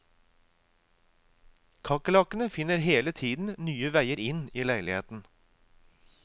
Kakerlakkene finner hele tiden nye veier inn i leiligheten.